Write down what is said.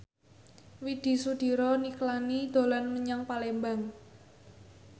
Widy Soediro Nichlany dolan menyang Palembang